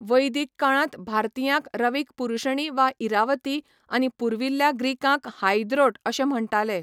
वैदिक काळांत भारतीयांक रवीक पुरुषणी वा इरावती आनी पुर्विल्ल्या ग्रीकांक हायद्रोट अशें म्हण्टाले.